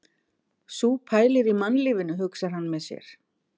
Sú pælir í mannlífinu, hugsar hann með sér.